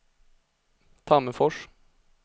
Tammerfors